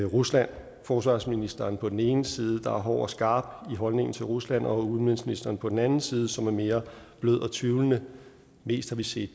rusland forsvarsministeren på den ene side der er hård og skarp i holdningen til rusland og udenrigsministeren på den anden side som er mere blød og tvivlende mest har vi set